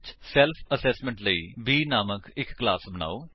self assessment ਲਈ B ਨਾਮਕ ਇੱਕ ਕਲਾਸ ਬਨਾਓ